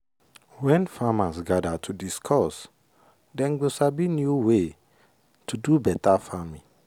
when farmers gather to discuss dem go sabi new way to do better farming.